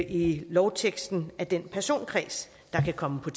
i lovteksten af den personkreds der kan komme på